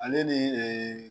Ale ni